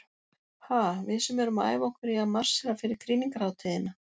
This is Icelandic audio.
Ha, við sem erum að æfa okkur í að marsera fyrir krýningarhátíðina.